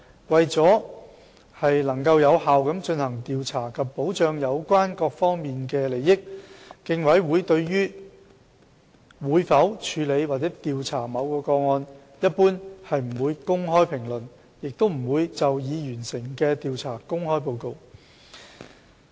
為了能有效地進行調查及保障有關各方的利益，競委會對於會否處理或調查某宗個案，一般不會公開評論，也不會就已完成的調查公開報告。